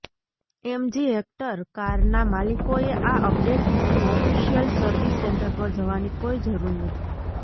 MG Hector કારના માલિકોએ આ અપડેટ માટે ઓફિશિયલ સર્વિસ સેન્ટર પર જવાની કોઈ જરૂર નથી